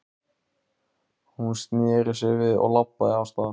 Hún sneri sér við og labbaði af stað.